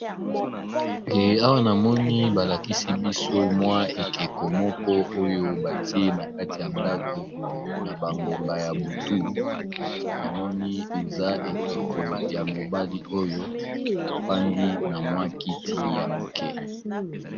Awa namoni balakisi biso mwa ekeko moko oyo batie na kati ya ndako na bangonga ya butu, namoni eza ekeko ya mobali oyo afandi na mwa kiti ya moke.